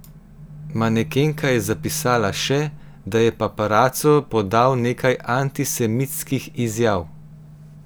Manekenka je zapisala še, da je paparaco podal nekaj antisemitskih izjav.